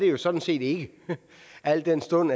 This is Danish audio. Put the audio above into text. jo sådan set ikke al den stund